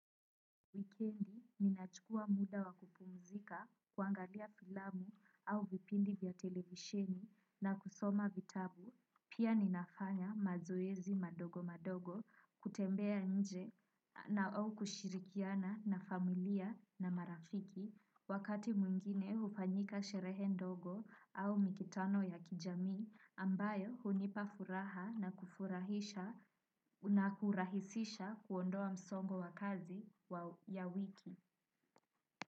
Weekendi ninachukua muda wakupumzika kuangalia filamu au vipindi vya televisheni na kusoma vitabu. Pia ninafanya mazoezi madogo madogo kutembea nje na au kushirikiana na familia na marafiki. Wakati mwingine ufanyika sherehe ndogo au mikutano ya kijami ambayo hunipa furaha na kurahisisha kuondoa msongo wa kazi ya wiki.